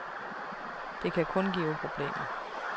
Det kan kun give problemer.